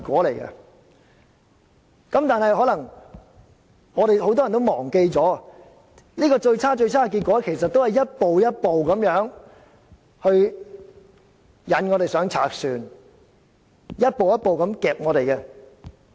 但是，很多人可能忘記了，這最差的結果其實是一步一步地引我們上賊船，一步一步地脅迫我們而達致的。